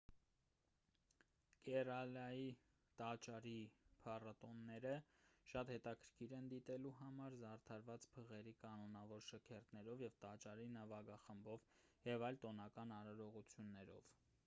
կերալայի տաճարի փառատոնները շատ հետաքրքիր են դիտելու համար զարդարված փղերի կանոնավոր շքերթներով տաճարի նվագախմբով և այլ տոնական արարողություններով